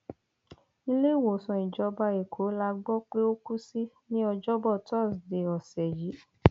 iléewòsàn ìjọba ẹkọ la gbọ pé ó kù sí ní ọjọbọ tọsídẹẹ ọsẹ yìí